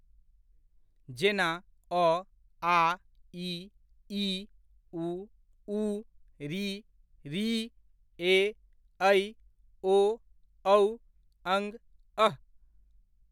जेना, अ, आ, इ, ई, उ, ऊ, ऋ, ॠ, ए, ऐ, ओ, औ, अं, अः।